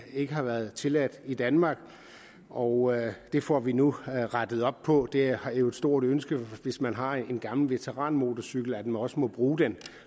ikke har været tilladt i danmark og det får vi nu rettet op på det er jo et stort ønske hvis man har en gammel veteranmotorcykel at man også må bruge den